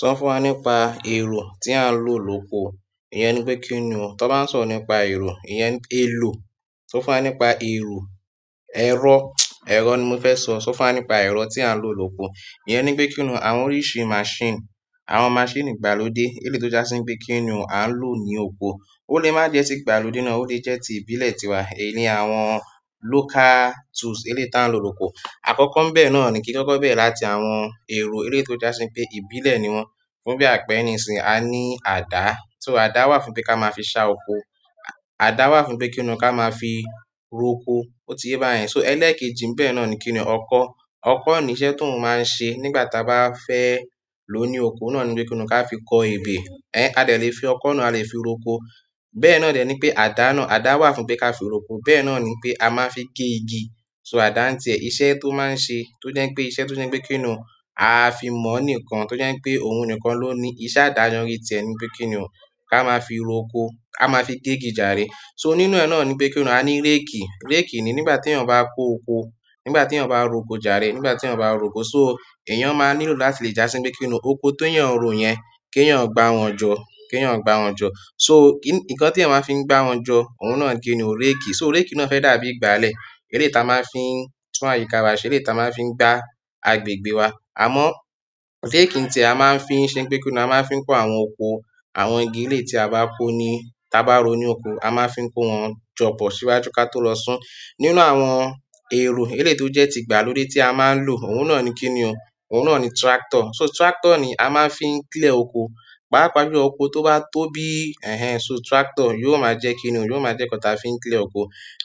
So fún wá nípa èrò ti a n rò lóko. Iyen ni pe kini o ti won bá n sọ̀rọ̀ nípa ero, elo. Sọ fún wa nípa èrò, ẹ̀rọ, ẹ̀rọ ni mo fẹ́ sọ. Sọ fún wa nípa ẹ̀rọ tí a ń lò lóko. Iyẹn ni pé kínní o. Àwọn oríṣi máṣínì, àwọn máṣínì ìgbàlódé eléyi tó jásí pé kínní o a ń lò ní oko. Ó lè má je tí ìgbàlódé náà ó lè jẹ́ ti ìbílẹ̀ tiwa. Èyí ni àwọn local tools elé ta ń lò lóko. Àkọ́kọ́ ńbẹ́ẹ̀ náà ni kí kọ́kọ́ bẹ̀rẹ̀ láti àwọn èrò eléyi tó jásí pé ìbílẹ̀ ni wọ́n. Fún bí àpẹẹrẹ ìsìn a ní àdá. Só àdá wà fún pé ká máa fi ṣá oko. Àdá wà fún pé kí ni ká máa fi roko. Ó ti ye báyẹn. So ẹlẹ́ẹ̀kejì ńbẹ́ẹ̀ náà ni kíni ọkọ́. Ọkọ́ ni iṣẹ́ ti oun máa ń ṣe nígbà tí a bá fẹ́ lò ó ní oko náà ni wípé kí ni ká fi kọ ebè. Ẹ̀ adè lè fi ọkọ́ náà, a lè fi roko. Bẹ́ẹ̀ náà dẹ̀ ni pé àdá náà, àdá wà fún pé ká fi roko. Bẹ́ẹ̀ náà ni pé a máa n fi gé igi. So àdá ń tiẹ iṣẹ́ tó máa ń ṣe tó jẹ́ pé iṣẹ́ tó jẹ́ pé kín ní o a fi mọ̀ níkan tó jẹ́ pé òun nìkan ló ní iṣẹ́ àdá ni tẹ́ ni wípé kín ní o ká máa fi roko, ká máa fi gé igi jàárẹ. So nínú ẹ̀ náà ni wípé kín ní o a ní réèkì. Réèkì ni nígbà tí èèyàn bá kó oko, nígbà tí èèyàn bá róko jàárẹ, nígbà tí èèyàn bá róko so èèyàn máa nílò láti lè jásí pé kí ni oko tó yàn ron yẹn kí èèyàn gbá wọn jọ, kí èèyàn gbá wọn jọ. So nǹkan tí èèyàn máa fi ń gbá wọn jọ òun náà ni kí ni ó réèkì. So réèkì náà fẹ́ dàbí ìgbálẹ̀ eléyi ta máa ń fi tún àyíká wa ṣe eléyi ta máa ń fi gba agbègbè wa. Àmọ́ réèkì ń tiẹ a máa ń fi ń ṣe pé kí ni a máa ń fi kó àwọn oko, àwọn igi eléyi tí a bá kó ni tá bá ró ní oko, a máa ń fi kó wọn jọ pọ̀ síwájú kí a tó lọ sún. Nínú àwọn èrò eléyi tó jẹ́ ti ìgbàlódé tí a máa ń lò òun náà ni kí ni o, òun náà ni tractor. So tractor ni a máa ń fi ń clear oko. Pàápàá jù lọ oko to ba tóbi, so tractor je ǹkan ta ma n fii n clear oko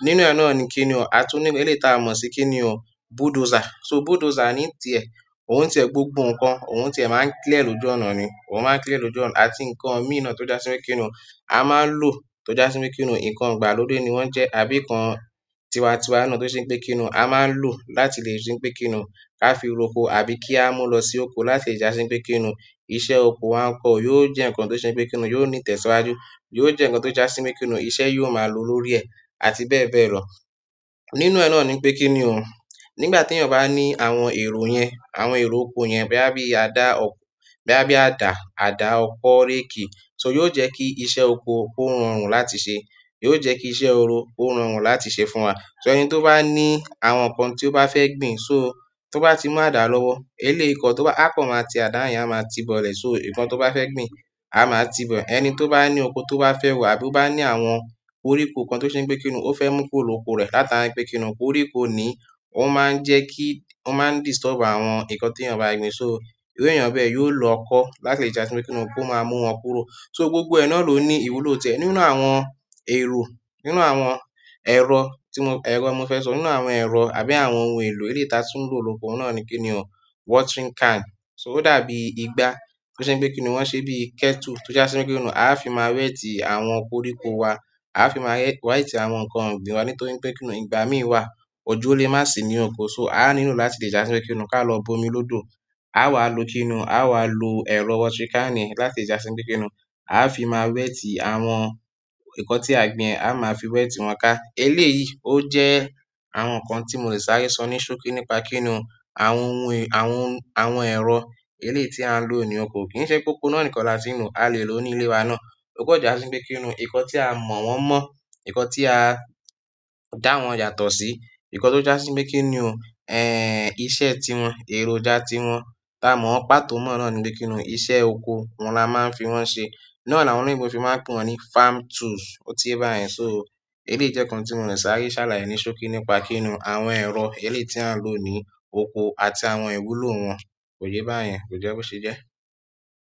nínú ẹ̀ náà ni kí ni o a tún ní eléyi ta mọ̀ sí kí ni o bulldozer. So bulldozer ni ń tiẹ òun ń tiẹ gbogbo nǹkan, òun ń tiẹ máa ń clear e lo ju ọ̀nà ni. Òun máa ń clear e lo ju ọ̀nà. A ti nǹkan mííràn tó jásí pé kí ni o a máa ń lò tó jásí pé kí ni o nǹkan ìgbàlódé ni wọ́n jẹ́ àbí nǹkan tiwa-tiwa náà tó ṣe pé kí ni o a máa ń lò láti lè ṣe pé kí ni o ká fi roko àbí kí a mú lọ sí oko láti lè jásí pé kí ni o iṣẹ́ oko wa ń kọ̀ yóò jẹ́ nǹkan tó ṣe pé kí ni o yóò ní ìtẹ̀síwájú. Yóò jẹ́ nǹkan tó jásí pé kí ni o iṣẹ́ yóò máa lo lórí ẹ̀ àti bẹ́ẹ̀ bẹ́ẹ̀ lọ. Nínú ẹ̀ náà ni wípé kín ní o. Nígbà tí èèyàn bá ní àwọn èrò yẹn, àwọn èrò oko yẹn bí àbí àdá ọ̀kó, bí àbí àdá, àdá, ọkọ́, réèkì so yóò jẹ́ kí iṣẹ́ oko ó rọrùn láti ṣe. Yóò jẹ́ kí iṣẹ́ oro ó rọrùn láti ṣe fún wa. So ẹni tó bá ní àwọn nǹkan tí ó bá fẹ́ gbìn so tó bá ti mú àdá lọ́wọ́ eléyi kan tó bá a kan máa ti àdá yẹn a máa ti bọ̀lẹ̀ so nǹkan tó bá fẹ́ gbìn a máa ti bọ̀. Ẹni tó bá ní oko tó bá fẹ́ rọ̀ àbí ó bá ní àwọn koríko nǹkan tó ṣe pé kí ni o ó fẹ́ mú kúrò ni oko rẹ̀ láti àbí pé kí ni o koríko ni ó máa ń jẹ́ kí, ó máa ń disturb àwọn nǹkan tí èèyàn bá gbìn so irú èèyàn bẹ́ẹ̀ yóò lo ọkọ́ láti lè jásí pé kí ni o kó máa mú wọn kúrò. So gbogbo ẹ̀ náà ló ní ìwúlò tẹ. Nínú àwọn èrò, nínú àwọn ẹ̀rọ tí mo ẹ̀rọ mo fẹ́ sọ nínú àwọn ẹ̀rọ àbí àwọn ohun èlò eléyi ta tún ń lò lóko náà ni kí ni o watering can. So ó dàbí ìgbà tó ṣe pé kí ni o wọ́n ṣe bí kettle tó jásí pé kí ni o a fi máa wẹ́tì àwọn koríko wa. A fi máa wẹ́tì àwọn nǹkan ogbìn wa nítorí pé kí ni o ìgbà míì wà ojo ó lè má sì ní oko so a nílò láti lè jásí pé kí ni o ká lọ bomi lódò. A wà ló kí ni o a wà ló ẹ̀rọ watering can láti jásí pé kí ni o a fi máa wẹ́tì àwọn nǹkan tí a gbìn, a máa fi wẹ́tì wọn ká. Elé yìí ó jẹ́ àwọn nǹkan tí mòle sáré sọ ní ṣókí nípa kín ní o àwọn ohun èr- àwọn ohun, àwọn ẹ̀rọ eléyi tí a ń lò ní oko. Kì í ṣe pe oko náà nìkan láti n lo a lè lò ní ilé wa náà. Ó kọjá sí pé kí ni o nǹkan tí a mọ̀ wọ́n mọ́, nǹkan tí a dá wọn yàtọ̀ sí, nǹkan tó jásí pé kí ni o ẹ́ ìṣe tí wọn, èròjà tí wọn tá a mọ̀ pátó mọ́ náà ni wípé kí ni o iṣẹ́ oko òun la máa ń fi wọ́n ṣe. Náà ni àwọn olóyìnbó fi máa ń pè wọ́n ní farm tools ó ti ye báyẹn. So eléyi jẹ́ nǹkan tí mòle sáré sálàyé ní ṣókí nípa kín ní o àwọn ẹ̀rọ eléyi tí a ń lò ní oko àti àwọn ìwúlò wọn. Ó ti ye báyẹn kò jẹ́ bó ṣe jẹ́.